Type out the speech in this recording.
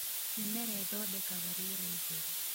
Mĩmera ĩthondekaga rĩera itheru